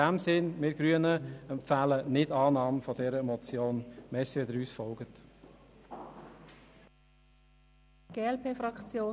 In diesem Sinne empfehlen wir Grünen die Nichtannahme dieser Motion.